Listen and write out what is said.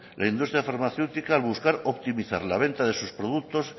la industria farmacéutica al buscar optimizar la venta de sus productos